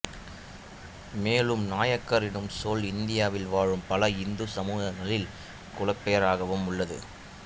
மேலும் நாயக்கர் எனும் சொல் இந்தியாவில் வாழும் பல இந்துச் சமூகங்களின் குலப்பெயராகவும் உள்ளது